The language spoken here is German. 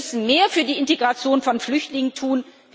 Wir müssen mehr für die Integration von Flüchtlingen tun.